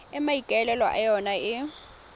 e maikaelelo a yona e